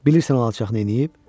Bilirsən o alçaq nə eləyib?